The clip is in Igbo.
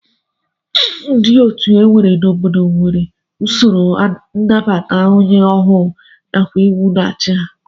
Otu dum e nwere n'obodo nwere usoro nnabata onye ọhụụ nakwa iwu na-achị ha